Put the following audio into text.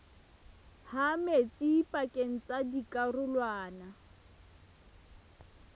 ha metsi pakeng tsa dikarolwana